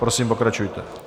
Prosím, pokračujte.